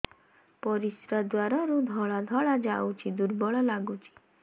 ପରିଶ୍ରା ଦ୍ୱାର ରୁ ଧଳା ଧଳା ଯାଉଚି ଦୁର୍ବଳ ଲାଗୁଚି